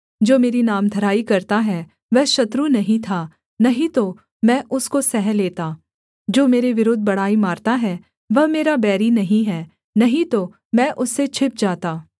जो मेरी नामधराई करता है वह शत्रु नहीं था नहीं तो मैं उसको सह लेता जो मेरे विरुद्ध बड़ाई मारता है वह मेरा बैरी नहीं है नहीं तो मैं उससे छिप जाता